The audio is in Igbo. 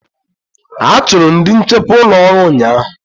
A chụrụ ndị nchekwa ụlọ ọrụ ụnyaahụ.